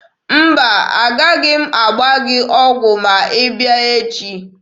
Mba, a gaghị m agba gị ọgwụ ma ị bịa echi.